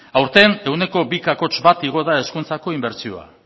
aurten ehuneko bi koma bat igo da hezkuntzako inbertsioa